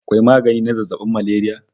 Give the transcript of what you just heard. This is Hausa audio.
Akwai magani na zazzabin malaria